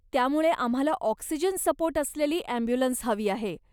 त्यामुळे, आम्हाला oxygen support असलेली ॲम्ब्युलन्स हवी आहे.